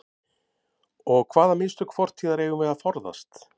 Og hvaða mistök fortíðar eigum við að forðast?